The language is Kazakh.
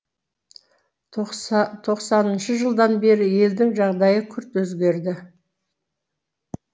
тоқсаныншы жылдан бері елдің жағдайы күрт өзгерді